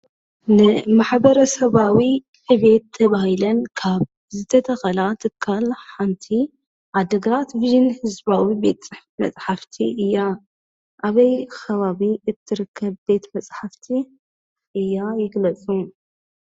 ኒማሕብረሰባዊ ዕብየ ተባሂለነ ካብ ዝተተከላ ትካሊሓነት ዓዲግራትብይነስፒሮም ቤት መፃሓፍትእያ። ኣበይ ከባቢእትርከበ ቤት መፃሓፍትእያይግለፁ?